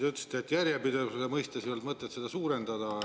Te ütlesite, et järjepidevuse mõttes ei olnud mõtet seda suurendada.